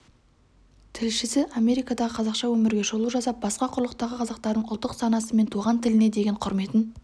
тілшісі америкадағы қазақша өмірге шолу жасап басқа құрлықтағы қазақтардың ұлттық санасы мен туған тіліне деген құрметін